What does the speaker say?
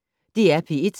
DR P1